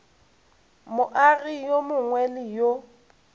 moagi yo mongwe le yo